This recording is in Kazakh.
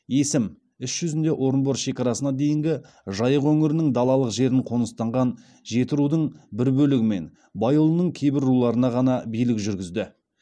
есім іс жүзінде орынбор шекарасына дейінгі жайық өңірінің далалық жерін қоныстанған жетірудың бір бөлігі мен байұлының кейбір руларына ғана билік жүргізді